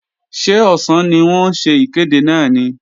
Ṣé ọ̀sán ni wọ́n ń ṣe ìkéde náà ni?